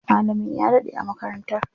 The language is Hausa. Malamin ya daɗe a makarantar.